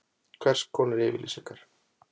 Hvers konar upplýsingar?